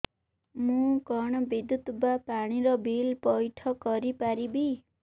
ମୁ କଣ ବିଦ୍ୟୁତ ବା ପାଣି ର ବିଲ ପଇଠ କରି ପାରିବି